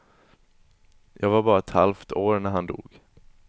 Jag var bara ett halvt år när han dog.